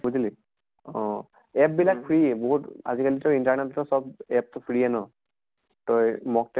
বুজিলি অহ app বিলাক free বহুত আজি কালি তই internet তে চব app টো free য়ে ন তই mock তে